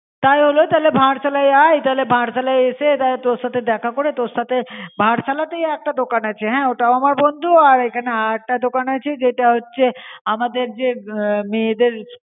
তাই হলো তাহলে ভারসালয় আয়ে তাহলে ভারসালয় এসে তাহলে তোর সাথে দেখা করে তোর সাথে ভারসালয়তে একটা দোকান আছে হন অটাও আমার বন্দু আর এখানে আর এখানে আর একতা দোকান আছে জেতা হচে আমদের জে মেয়েদেড়